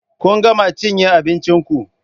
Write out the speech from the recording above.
Kun gama cinye abincin ku?